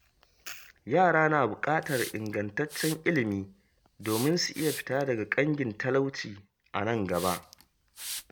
Yara na buƙatar ingantaccen ilimi domin su iya fita daga ƙangin talauci a nan gaba.